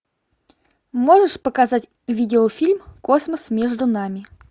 можешь показать видеофильм космос между нами